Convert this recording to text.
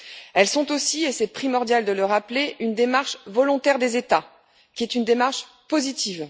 Elles sont aussi et c'est primordial de le rappeler une démarche volontaire des États, qui est une démarche positive.